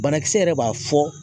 Banakisɛ yɛrɛ b'a fɔ